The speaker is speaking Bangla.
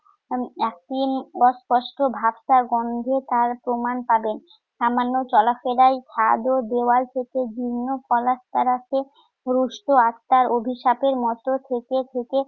উম অস্পষ্ট ভ্যাপসা গন্ধে তার প্রমাণ পাবেন। সামান্য চলাফেরায় ছাদ ও দেয়াল থেকে ভিন্ন পলেস্তারাকে পুরুষ্ট আত্মার অভিশাপের মত থেকে থেকে